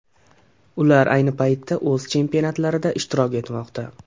Ular ayni paytda o‘z chempionatlarida ishtirok etmoqda.